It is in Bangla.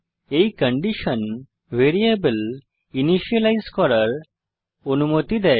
এই কন্ডিশন ভ্যারিয়েবল ইনিসিয়েলাইজ করার অনুমতি দেয়